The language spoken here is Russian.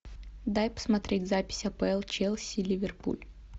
дай посмотреть запись апл челси ливерпуль